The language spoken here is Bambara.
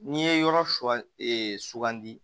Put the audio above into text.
N'i ye yɔrɔ sɔ e sugandi